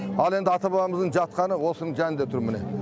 ал енді ата бабамыздың жатқаны осының жанында тұр міне